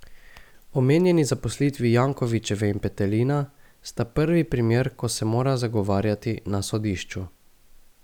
Omenjeni zaposlitvi Jankovičeve in Petelina sta prvi primer, ko se mora zagovarjati na sodišču.